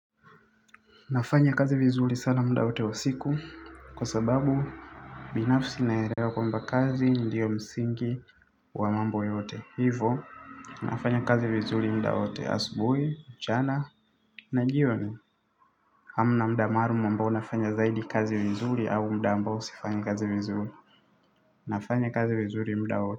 Nafanya kazi vizuri sana mda wote wa siku. Kwa sababu binafsi naelewa kwa mba kazi. Ndiyo msingi wa mambo yote. Hivo, nafanya kazi vizuri mda wote asubui, mchana, na jioni. Hamna mda maalum ambao nafanya zaidi kazi vizuri. Au mda ambao sifanyi kazi vizuri. Nafanya kazi vizuri mda wote.